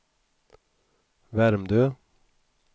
Värmdö